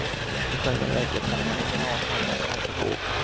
I själva verket hade man ingen aning om vad som var på gång.